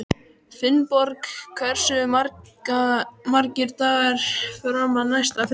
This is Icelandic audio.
Finnborg, hversu margir dagar fram að næsta fríi?